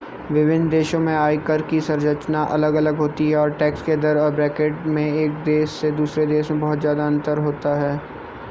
विभिन्न देशों में आयकर की संरचना अलग-अलग होती है और टैक्स के दर और ब्रैकेट में एक देश से दूसरे देश में बहुत ज्यादा अंतर होता है